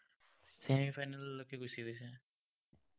semi-final লৈকে গুছি গৈছে।